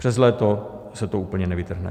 Přes léto se to úplně nevytrhne.